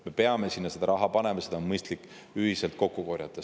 Me peame sinna seda raha panema, seda on mõistlik ühiselt kokku korjata.